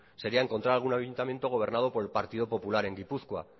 sería encontrar algún ayuntamiento gobernado por el partido popular en gipuzkoa